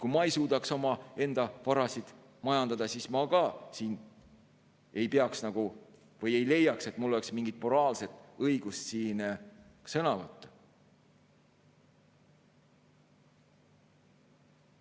Kui mina ei suudaks omaenda varasid majandada, siis ma ei leia, et mul oleks mingit moraalset õigust siin sõna võtta.